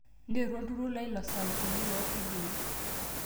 nteru olturur lai losautini loo fidioi